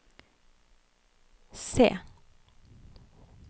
se